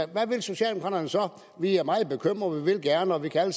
hvad vil socialdemokraterne så vi er meget bekymrede vi vil gerne og vi kan